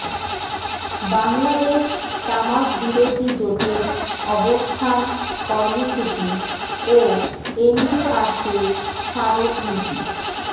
বাংলাদেশ তামাক বিরোধী জোটের অবস্থান কর্মসূচি ও এনবিআরকে স্মারকলিপি